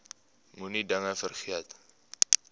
moenie dinge vergeet